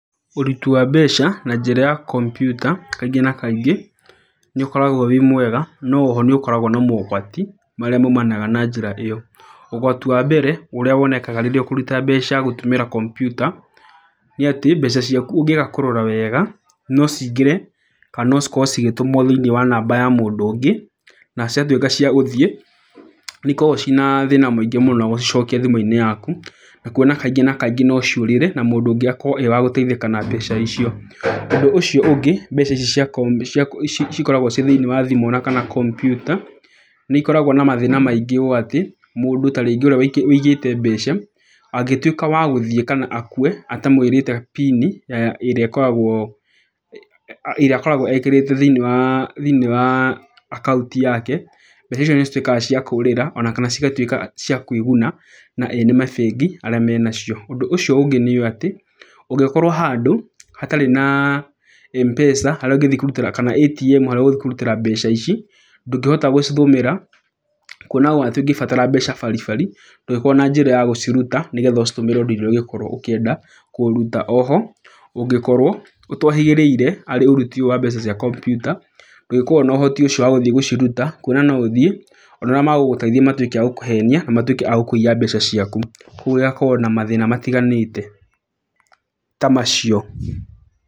Ũruti wa mbeca na njĩra ya kompiuta kaingĩ na kaingĩ nĩ ũkoragwo wĩ mwega, no oho nĩ ũkoragwo na mogwati marĩa maumanaga na njĩra ĩyo. Ũgwati wa mbere ũrĩa wonekaga rĩrĩa ũkũruta mbeca gũtũmĩra kompiuta nĩ atĩ, mbeca ciaku ũngĩaga kũrora wega, no ciingĩre kana no cikorwo cigĩtũmwo thĩiniĩ wa namba ya mũndũ ũngĩ. Na ciatuĩka cia gũthiĩ nĩ ikoragwo ciĩna thĩna mũingĩ mũno gũcicokia thimũ-inĩ yaku. Na kuona kaingĩ na kaingĩ no ciũrĩre na mũndũ ũngi akorwo e wa gũteithĩka na mbeca icio. Ũndũ ũcio ũngĩ mbeca ici cikoragwo ciĩ thĩiniĩ wa thimũ ona kana kompiuta, nĩ ikoragwo na mathĩna maingĩ ũũ atĩ, mũndũ ta rĩngĩ ũrĩa ũigĩte mbeca angĩtuĩka wa gũthiĩ kana akue atamwĩrĩte PIN ĩrĩa akoragwo ekĩrĩte thĩiniĩ wa akaũntĩ yake, mbeca icio nĩ cituĩkaga cia kũũrĩra ona kana cigatuĩka cia kwĩguna na ene mabengi arĩa menacio. Ũndũ ũcio ũngĩ nĩ ũũ atĩ ũngĩkorwo handũ hatarĩ na Mpesa harĩa ũngĩthiĩ kũrutĩra kana ATM harĩa ũgũthiĩ kũrutĩra mbeca ici, ndũngĩhota gũcitũmĩra. Kuona ũũ atĩ ũngĩbatara mbeca bari bari ndũngĩkorwo na njĩra ya gũciruta nĩgetha ũcitũmĩre ũndũ ũrĩa ũngĩkorwo ũkĩenda kũruta. Oho ũtohĩgĩrĩire harĩ ũruti ũyũ wa mbeca cia kompiuta, ndũngĩhota na ũhoti ũcio wa gũthiĩ gũciruta, kuona no ũthiĩ ona arĩa magũgũteithia matuĩke a gũkũhenia na matuĩke a gũkũiya mbeca ciaku. Koguo ĩgakorwo na mathĩna matiganĩte ta macio.